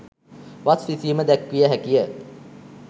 වස් විසීම දැක්විය හැකිය.